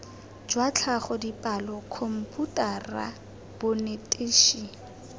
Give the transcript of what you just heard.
jwa tlhago dipalo khomputara bonetetshi